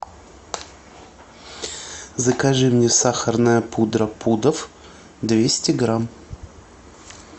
закажи мне сахарная пудра пудов двести грамм